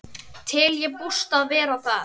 Tel ég bústað vera það.